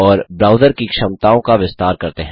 और ब्राउज़र की क्षमताओं का विस्तार करते हैं